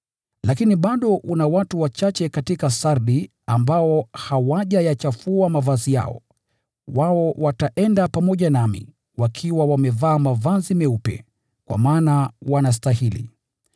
“Lakini bado una watu wachache katika Sardi ambao hawajayachafua mavazi yao. Wao wataenda pamoja nami, wakiwa wamevaa mavazi meupe, kwa maana wanastahili.